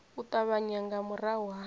u ṱavhanya nga murahu ha